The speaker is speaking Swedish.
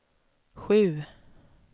sju